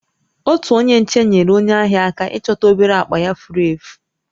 Otu onye nche nyeere onye ahịa aka ịchọta obere akpa ya furu efu